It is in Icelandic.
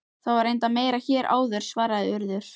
Það var reyndar meira hér áður- svaraði Urður.